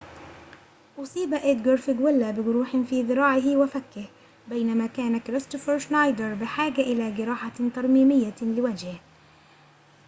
أصيب إدغار فيغويلا بجروحٍ في ذراعه وفكه بينما كان كريستوفر شنايدر بحاجة إلى جراحةٍ ترميميةٍ لوجهه